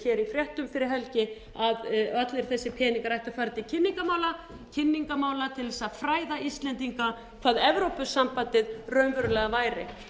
fréttum fyrir helgi að allir þessir peningar ættu að fara til kynningarmála til þess að fræða íslendinga hvað evrópusambandið raunverulega væri